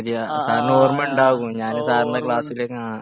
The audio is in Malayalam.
ആ ആ ആ ഓ ഓ ഓർമ്മയുണ്ട്